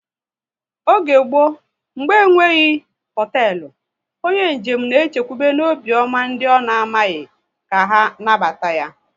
Oge mgbọ, mgbe enwebeghi hoteelu, onye njem na e chekwube n'obiọma ndị ọ na amaghị ka anabata ya